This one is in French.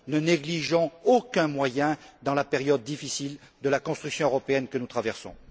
Ne négligeons aucun moyen dans la période difficile de la construction européenne que nous traversons.